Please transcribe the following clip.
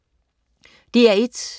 DR1: